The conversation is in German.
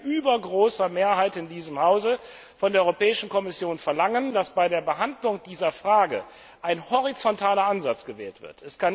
Wir werden mit übergroßer Mehrheit in diesem Hause von der Europäischen Kommission verlangen, dass bei der Behandlung dieser Frage ein horizontaler Ansatz gewählt wird.